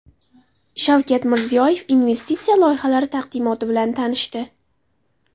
Shavkat Mirziyoyev investitsiya loyihalari taqdimoti bilan tanishdi.